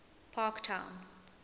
parktown